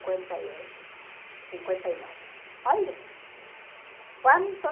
e oito, cinquenta e nove. Olha! Quanto